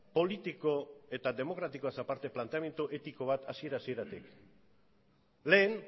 politiko eta demokratikoaz aparte planteamendu etiko bat hasiera hasieratik lehen